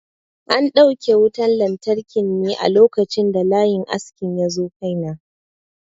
An dauke wutan lantarki ne a lokacin da layin askin yazo kai na.